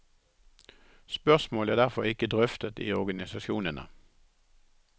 Spørsmålet er derfor ikke drøftet i organisasjonene.